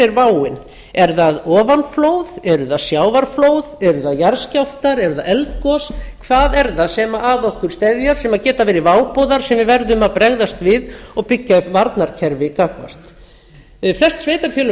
er váin er það ofanflóð eru það sjávarflóð eru það jarðskjálftar eru það eldgos hvað er það sem að okkur steðjar sem geta verið váboðar sem við verðum að bregðast við og byggja upp varnarkerfi gagnvart þessi sveitarfélög fara